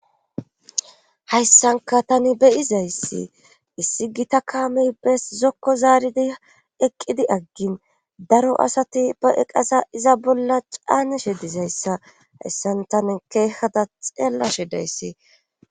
Hayssanka tani beyizayssi issi gita kaamey bes zokko zaaridi eqqidi aggin daro asati ba eqasa iza bolla caanishe dizayssa hayssan tani keehhata xeellashe dayssi